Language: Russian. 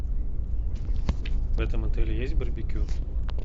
в этом отеле есть барбекю